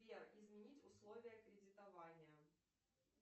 сбер изменить условия кредитования